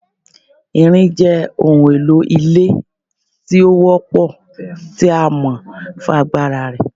Irin jẹ ohun elo ile ti o wọ́pọ ti a mọ fun agbara rẹ